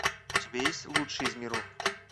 у тебя есть лучший из миров